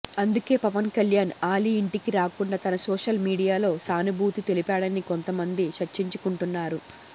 అందుకే పవన్ కళ్యాణ్ ఆలీ ఇంటికి రాకుండా తన సోషల్ మీడియాలో సానుభూతి తెలిపాడని కొంతమంది చర్చించుకుంటున్నారు